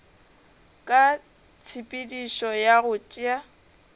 ka tshepedišo ya go tšea